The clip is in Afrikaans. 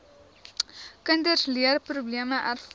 kinders leerprobleme ervaar